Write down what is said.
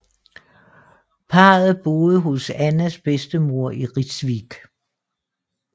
Parret boede hos Annas bedstemor i Rijswijk